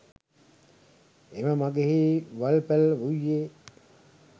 එම මගෙහි වල්පැළ වූයේ